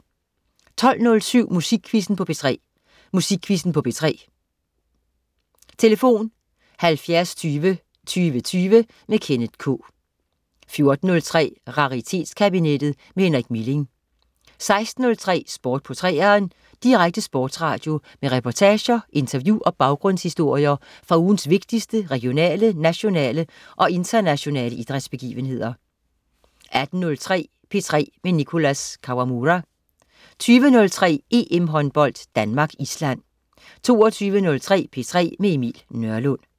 12.07 Musikquizzen på P3. Musikquizzen på P3. Tlf.: 70 20 20 20. Kenneth K 14.03 Raritetskabinettet med Henrik Milling 16.03 Sport på 3'eren. Direkte sportsradio med reportager, interview og baggrundshistorier fra ugens vigtigste regionale, nationale og internationale idrætsbegivenheder 18.03 P3 med Nicholas Kawamura 20.03 EM-håndbold: Danmark-Island 22.03 P3 med Emil Nørlund